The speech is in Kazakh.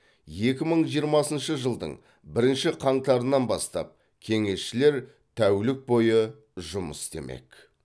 екі мың жиырмасыншы жылдың бірінші қаңтарынан бастап кеңесшілер тәулік бойы жұмыс істемек